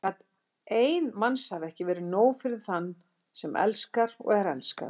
Gat ein mannsævi ekki verið nóg fyrir þann sem elskar og er elskaður?